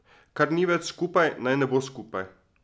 Kar ni več skupaj, naj ne bo skupaj.